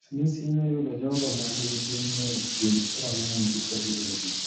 SMECE hinyo yudo jogo ma hikgi nie kind 40 gi 75.